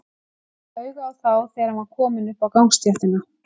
Hann kom auga á þá þegar hann var kominn upp á gangstéttina.